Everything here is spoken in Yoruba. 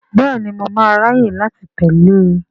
Bẹ́ẹ̀ni, mo máa ráyè láti tẹ̀lé e.